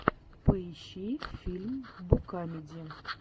поищи фильм букадеми